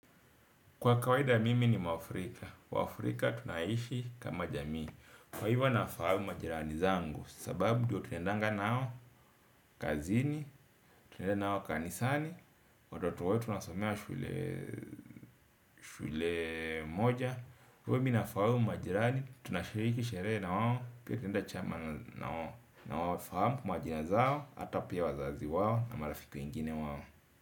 Kwa kawaida mimi ni mwafrika, waafrika tunaishi kama jamii. Kwa hivyo nafahamu majirani zangu. Sababu ndiyo tunaendanga nao kazini, tunaenda nao kanisani watoto wetu wanasomea shule shule moja. Kwa hivyo mimi na fahamu majirani, tunashiriki sherehe na wao pia tunaenda chama na wawo. Nawa fahamu majina zao hata pia wazazi wao na marafiki wengine wao.